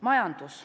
Majandus.